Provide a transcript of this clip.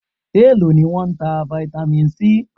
Èló ni wọ́n ń ta Vitamin C?